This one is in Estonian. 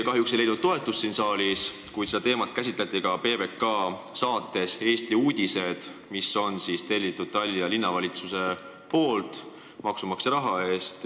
Kahjuks ei leidnud see siin saalis toetust, kuid seda teemat käsitleti ka PBK saates "Eesti uudised", mille on tellinud Tallinna Linnavalitsus maksumaksja raha eest.